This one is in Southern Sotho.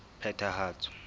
phethahatso